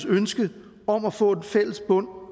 ønske om at få en fælles bund